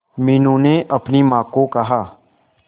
मीनू ने अपनी मां को कहा